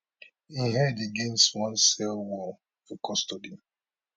im head against one cell wall for custody